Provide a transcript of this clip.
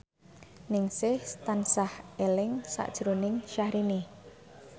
Ningsih tansah eling sakjroning Syahrini